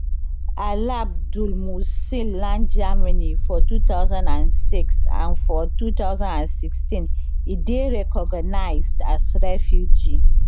alabdulmohsen land germany for two thousand and six and for two thousand and sixteen e dey recognised as refugee